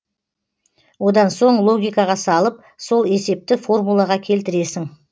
одан соң логикаға салып сол есепті формулаға келтіресің